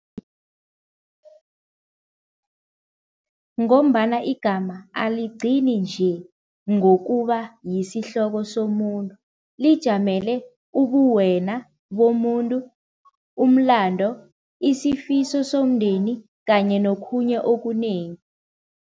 Ngombana igama aligcini nje ngokuba yisihloko somuntu, lijamele ubuwena bomuntu, umlando, isifiso somndeni kanye nokhunye okunengi.